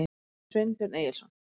Sveinbjörn Egilsson.